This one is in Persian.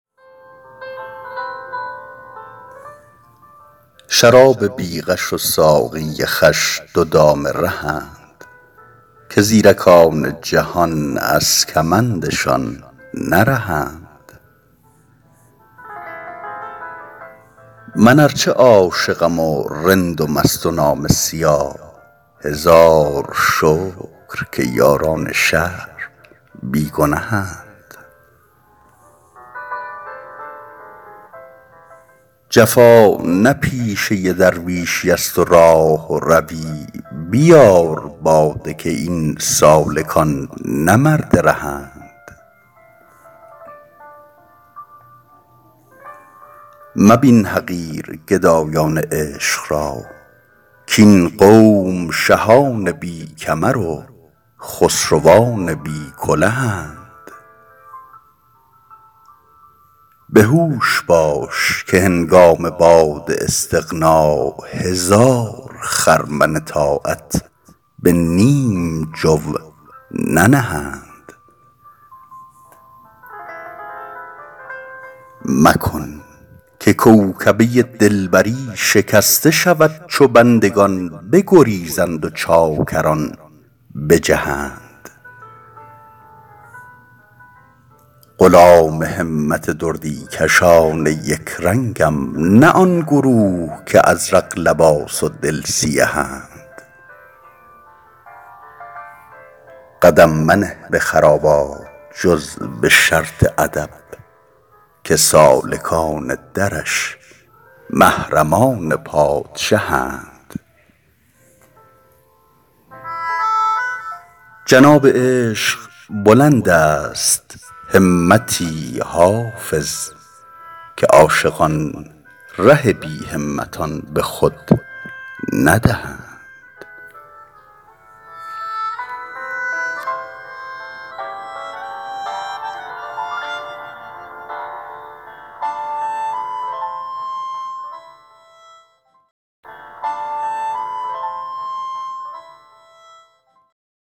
شراب بی غش و ساقی خوش دو دام رهند که زیرکان جهان از کمندشان نرهند من ار چه عاشقم و رند و مست و نامه سیاه هزار شکر که یاران شهر بی گنهند جفا نه پیشه درویشیست و راهروی بیار باده که این سالکان نه مرد رهند مبین حقیر گدایان عشق را کاین قوم شهان بی کمر و خسروان بی کلهند به هوش باش که هنگام باد استغنا هزار خرمن طاعت به نیم جو ننهند مکن که کوکبه دلبری شکسته شود چو بندگان بگریزند و چاکران بجهند غلام همت دردی کشان یک رنگم نه آن گروه که ازرق لباس و دل سیهند قدم منه به خرابات جز به شرط ادب که سالکان درش محرمان پادشهند جناب عشق بلند است همتی حافظ که عاشقان ره بی همتان به خود ندهند